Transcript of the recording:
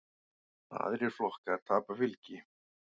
Aðrir flokkar tapa fylgi.